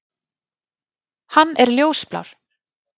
Hann er ljósblár.